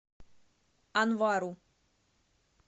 анвару